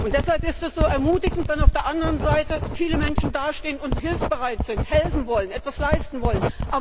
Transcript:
Deshalb ist es so ermutigend, wenn auf der anderen Seite viele Menschen dastehen und hilfsbereit sind, helfen wollen, etwas leisten wollen.